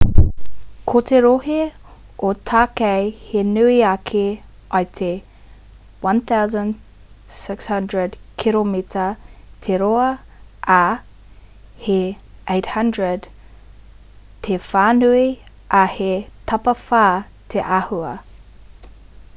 ko te rohe o tākei he nui ake i te 1,600 kiromita 1,000 māero te roa ā he 800 km 500 māero te whānui ā he tapawhā te āhua